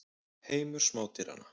Heimur smádýranna.